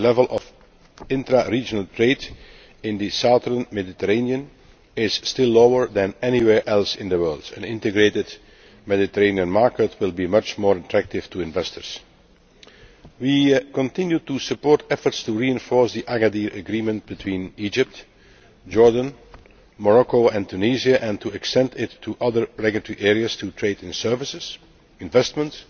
The level of intra regional trade in the southern Mediterranean is still lower than anywhere else in the world. An integrated Mediterranean market will be much more attractive to investors. We continue to support efforts to reinforce the Agadir Agreement between Egypt, Jordan, Morocco and Tunisia and to extend it to other regulatory areas to trade and services, investments